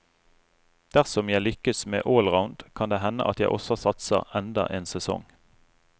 Dersom jeg lykkes med allround, kan det hende at jeg også satser enda en sesong.